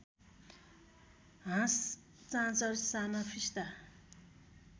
हाँस चाँचर साना फिस्टा